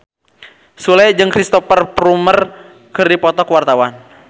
Sule jeung Cristhoper Plumer keur dipoto ku wartawan